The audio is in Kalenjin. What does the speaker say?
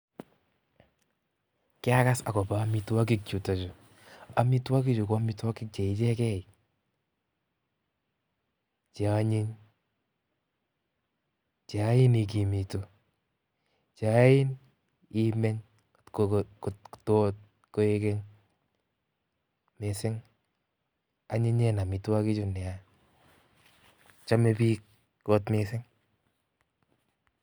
Kiakas akobo omitwokik chutok chuu, amitwoki chuu ko amitwokik Che icheken cheonyiny, cheyoin ikimitu, cheyoin imeny okot koikeny mising, anyinyen amitwokichu nea, chome biik kot mising.